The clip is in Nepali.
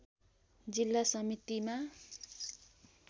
जिल्ला समितिमा